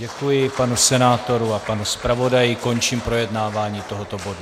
Děkuji panu senátorovi a panu zpravodaji, končím projednávání tohoto bodu.